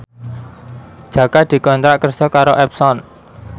Jaka dikontrak kerja karo Epson